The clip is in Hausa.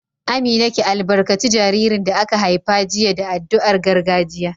Amina, ki albarkaci jaririn da aka haifa jiya da addu'ar gargajiya